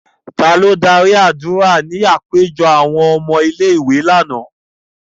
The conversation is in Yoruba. Ta ló dạri adura ní àpéjọ awọn ọmọ ìlé-ìwé làná?